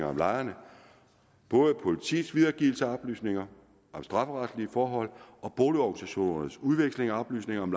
om lejerne både af politiets videregivelse af oplysninger om strafferetlige forhold og boligorganisationernes udveksling af oplysninger om